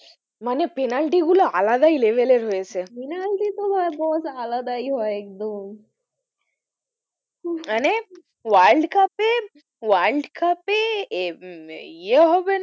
মানে পেনাল্টি গুলো আলাদাই level এর হয়েছে পেনাল্টি তো ভাই বস আলাদাই হয় একদম উহ মানে world cup এ world cup এ ইয়ে হবে না,